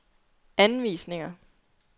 anvisninger